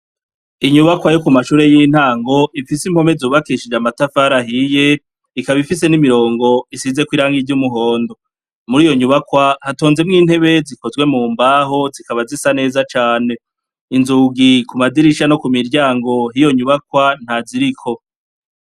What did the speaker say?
Inyubakwa yo ku mashure y'intango ifise impome zubakishije amatafari ahiye, ikaba ifise n'imirongo isizeko irangi ry'umuhondo. Muriyo nyubakwa, hatonzemwo intebe zikozwe mu mbaho, zikaba zisa neza cane. Inzugi ku madirisha no ku miryango yiyo nyubakwa nta ziriko.